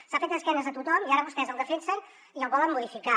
s’ha fet d’esquena a tothom i ara vostès el defensen i el volen modificar